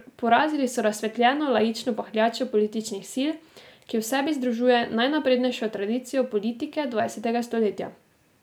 Porazili so razsvetljeno laično pahljačo političnih sil, ki v sebi združuje najnaprednejšo tradicijo politike dvajsetega stoletja.